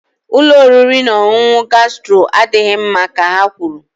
Ụlọ oriri na ọṅụṅụ gastro adịghị mma ka ha kwuru